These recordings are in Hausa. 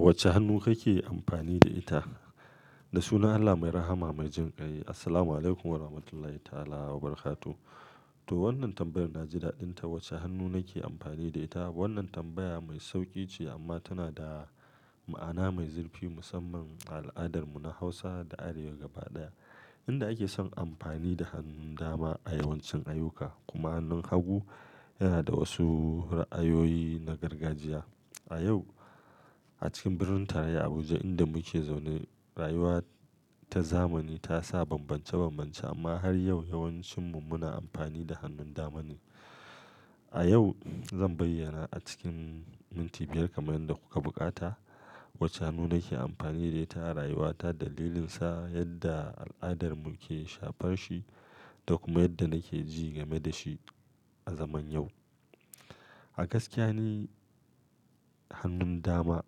Wacce hannu kake amfani da ita? Da sunan Allah mai rahama mai jinƙai. Assalamualaikum warahmatullahi ta'ala wabarakatuh. To wannan tambayar na ji daɗinta. Wacce hannu nake amfani da ita? Wannan tambaya mai sauƙi ce amma tana da ma'ana mai zurfi musamman a al'adarmu na Hausa da Arewa gaba ɗaya, inda ake son amfani da hannun dama a yawancin ayyuka. Kuma hannun hagu yana da wasu ra'ayoyi na gargajiya. A yau, a cikin birnin tarayya Abuja inda muke zaune, rayuwa ta zamani ta sa bambance-bambance amma har yau yawancinmu muna amfani da hannun dama ne. A yau, zan bayyana a cikin minti biyar kamar yadda kuka buƙata, wacce hannu nake amfani da ita a rayuwata, dalilinsa, yadda al'adar mu ke shafar shi da kuma yadda nake ji game da shi a zaman yau. A gaskiya ni hannun dama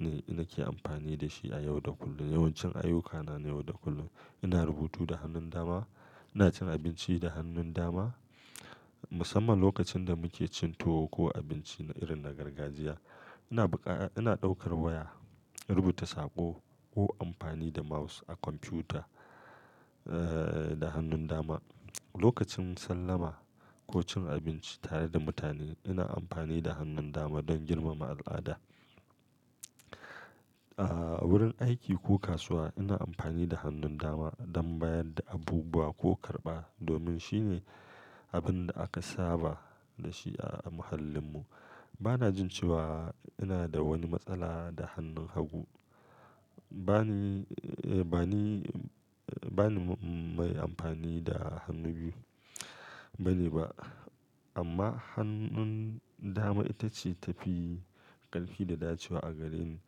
ne nake amfani da shi a yau da kullum. Yawancin ayyukana na yau da kullum, ina rubutu da hannun dama, ina cin abinci da hannun dama musamman lokacin da muke cin tuwo ko abinci na irin na gargajiya. Ina buƙa-- ina ɗaukar waya, rubuta saƙo ko amfani da mouse a kwamfuta, eh, da hannun dama. Lokacin sallama ko cin abinci tare da mutane, ina amfani da hannun dama don girmama al'ada. A wurin aiki ko kasuwa ina amfani da hannun dama don bayar da abubuwa ko karɓa domin shi ne abin da aka saba da shi a muhallinmu. Bana jin cewa ina da wani matsala da hannun hagu. Bani, eh, bani, bani mai amfani da hannu biyu bane ba amma hannun dama ita ce tafi ƙarfi da dacewa a gareni.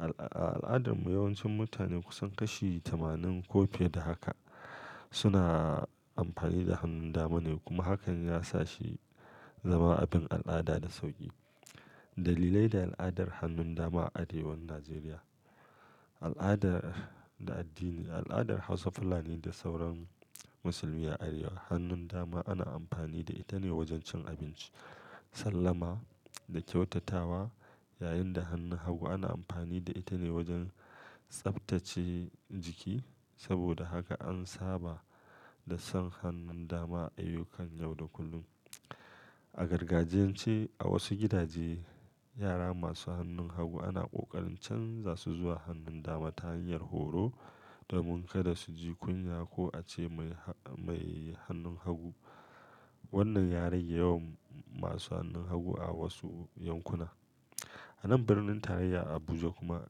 A al'adarmu yawancin mutane kusan kashi tamanin ko fiye da haka suna amfani da hannun dama ne kuma hakan ya sa shi zama abin al'ada da sauƙi. Dalilai da al'adar hannun dama a arewan Najeriya. Al'adar da addini, al'adar Hausa Fulani da sauran musulmi a arewa, hannun dama ana amfani da ita ne wajen cin abinci, sallama da kyautatawa yayin da hannun hagu ana amfani da ita ne wajen tsaftace jiki. Saboda haka an saba da son hannun dama a ayyukan yau da kullum. A gargajiyance, a wasu gidaje, yara masu hannun hagu ana ƙoƙarin canza su zuwa hannun dama ta hanyar horo domin kada su ji kunya ko ace mai, mai hannun hagu. Wannan ya rage yawan masu hannun hagu a wasu yankuna. A nan birnin tarayyar Abuja kuma,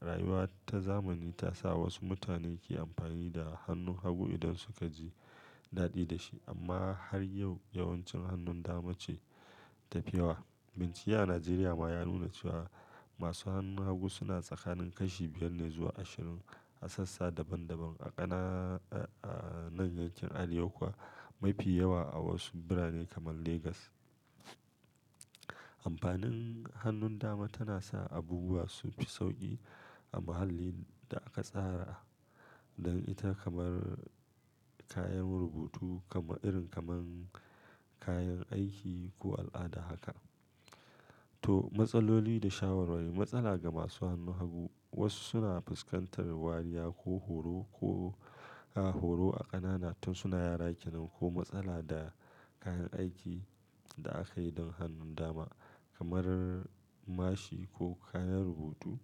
rayuwa ta zamani ta sa wasu mutane ke amfani da hannun hagu idan suka ji daɗi da shi amma har yau yawancin hannun dama ce ta fi yawa. Binciye a Najeriya ma ya nuna cewa masu hannun hagu suna tsakanin kashi biyar ne zuwa ashirin a sassa daban-daban a ƙananan yankin Arewa kuwa mafi yawa a wasu birane kamar Legas. Amfanin hannun dama tana sa abubuwa su fi sauƙi a muhallin da aka tsara don ita kamar kayan rubutu kamar irin kamar kayan aiki ko al'ada haka. To matsaloli da shawarwari. Matsala ga masu hannun hagu wasu suna fuskantar wariya ko horo ko a horo a ƙanana tun suna yara kenan ko matsala da kayan aikin da aka yi don hannun dama kamar mashi ko kayan rubutu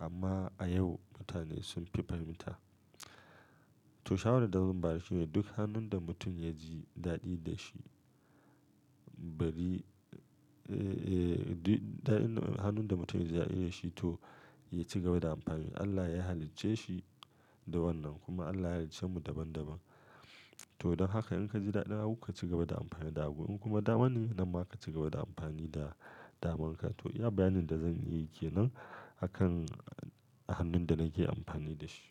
amma a yau mutane sun fi fahimta. To shawarar da zan bayar shi ne duk hannun da mutum ya ji daɗi da shi bari, eh, duk daɗin hannun da mutum ya ji daɗi da shi to ya ci gaba da amfani. Allah ya halicce shi da wannan kuma Allah ya haliccemu daban-daban. To don haka in ka ji daɗi da hagu ka ci gaba da amfani da hagu in kuma dama ne, nan ma ka ci gaba da amfani da damanka. To iya bayanin da zan yi ke nan a kan hannun da nake amfani da shi.